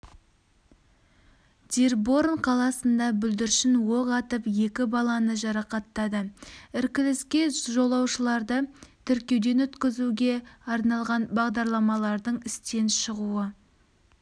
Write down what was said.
дирборн қаласында бүлдіршін оқ атып екі баланы жарақаттады іркіліске жолаушыларды тіркеуден өткізуге арналған бағдарламаның істен шығуы